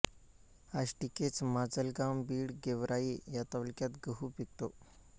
आष्टी केज माजलगाव बीड गेवराई या तालुक्यात गहू पिकतो